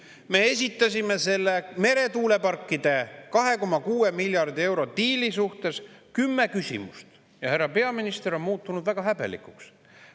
Me esitasime selle meretuuleparkide 2,6 miljardi euro diili kohta kümme küsimust, aga härra peaminister on muutunud väga häbelikuks.